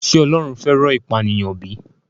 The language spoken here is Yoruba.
Ṣé Ọlọ́run fẹ́ràn ìpànìyàn bí?